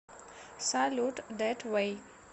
салют дэт вэй